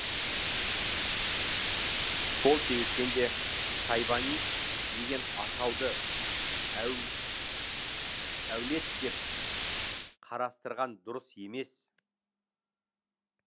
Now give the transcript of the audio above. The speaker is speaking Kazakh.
сол себептен де шайбани деген атауды әулет деп қарастырған дұрыс емес